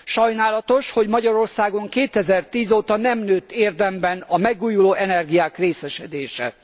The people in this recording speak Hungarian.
Sajnálatos, hogy Magyarországon 2010 óta nem nőtt érdemben a megújuló energiák részesedése.